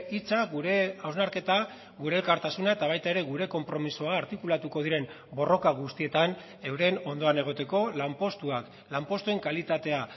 hitza gure hausnarketa gure elkartasuna eta baita ere gure konpromisoa artikulatuko diren borroka guztietan euren ondoan egoteko lanpostuak lanpostuen kalitatea